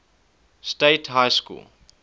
state high school